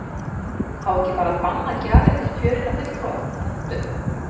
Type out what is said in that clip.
Á ekki bara að banna gjafir til kjörinna fulltrúa, punktur?